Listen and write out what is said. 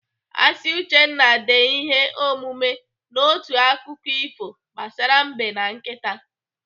Asị Uchenna dee ihe omume n'otu akụkọ ifo gbasara Mbe na nkịta.